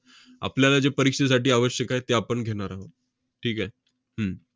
आपल्याला जे परीक्षेसाठी आवश्यक आहे ते आपण घेणार आहोत. ठीक आहे? हम्म